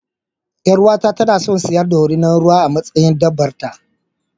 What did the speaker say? Yar'uwata tana son siyan dorinar ruwa a matsayin dabbar ta.